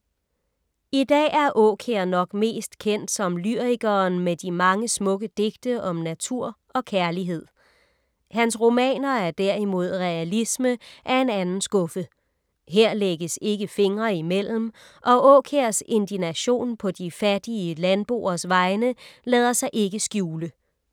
I dag er Aakjær nok mest kendt som lyrikeren med de mange smukke digte om natur og kærlighed. Hans romaner er derimod realisme af en anden skuffe. Her lægges ikke fingre imellem og Aakjærs indignation på de fattige landboers vegne lader sig ikke skjule.